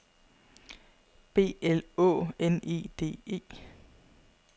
B L Å N E D E